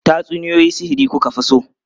Tatsuniyoyi sihiri ku ka fi so?